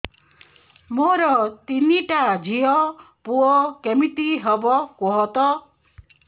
ମୋର ତିନିଟା ଝିଅ ପୁଅ କେମିତି ହବ କୁହତ